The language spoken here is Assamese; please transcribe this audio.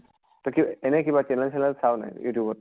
তই এনেই কিবা channel তেনেল চাৱ নাই youtube ত ?